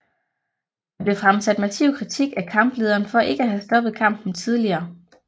Der blev fremsat massiv kritik af kamplederen for ikke at have stoppet kampen tidligere